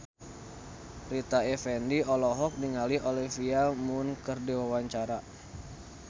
Rita Effendy olohok ningali Olivia Munn keur diwawancara